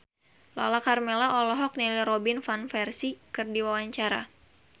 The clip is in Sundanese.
Lala Karmela olohok ningali Robin Van Persie keur diwawancara